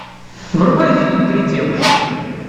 врубай фильм три девушки